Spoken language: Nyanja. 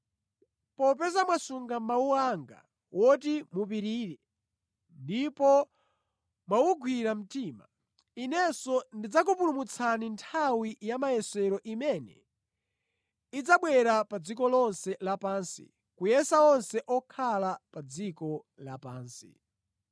Popeza mwasunga mawu anga woti mupirire ndipo mwawugwira mtima, Inenso ndidzakupulumutsani nthawi ya mayesero imene idzabwera pa dziko lonse lapansi kuyesa onse okhala pa dziko lapansi.